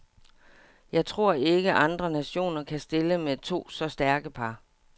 Jeg tror ikke, andre nationer kan stille med to så stærke par.